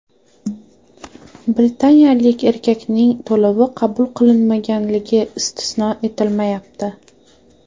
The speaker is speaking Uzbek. Britaniyalik erkakning to‘lovi qabul qilinmaganligi istisno etilmayapti.